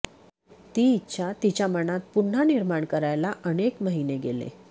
ती इच्छा तिच्या मनात पुन्हा निर्माण करायला अनेक महिने गेले